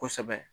Kosɛbɛ